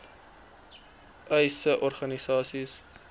uys sê organisasies